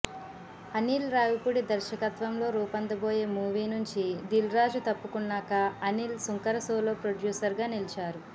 అనిల్ రావిపూడి దర్శకత్వంలో రూపొందబోయే మూవీ నుంచి దిల్ రాజు తప్పుకున్నాక అనిల్ సుంకర సోలో ప్రొడ్యూసర్ గా నిలిచారు